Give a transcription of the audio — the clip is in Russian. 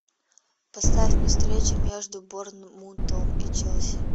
поставь мне встречу между борнмутом и челси